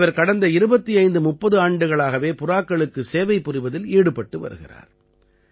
இவர் கடந்த 2530 ஆண்டுகளாகவே புறாக்களுக்குச் சேவை புரிவதில் ஈடுபட்டு வருகிறார்